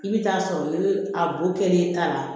I bɛ taa sɔrɔ ni a bo kɛ ta la